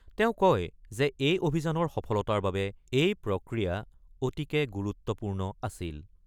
তেওঁ কয় যে এই অভিযানৰ সফলতাৰ বাবে এই প্ৰক্ৰিয়া অতিকে গুৰুত্বপূৰ্ণ আছিল।